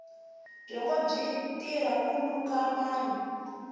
byongo byi tirha ku luka manu